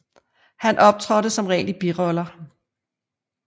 Han optrådte som regel i biroller